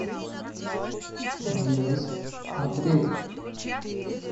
денис андреев